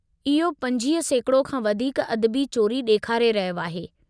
इहो 25% खां वधीक अदबी चोरी ॾेखारे रहियो आहे।